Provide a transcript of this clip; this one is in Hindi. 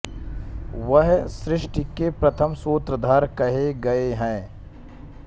वह सृष्टि के प्रथम सूत्रधार कहे गए हैं